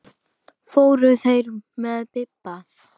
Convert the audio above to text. Fóru þeir með Bibba?